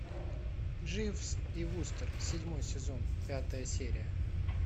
дживс и вустер седьмой сезон пятая серия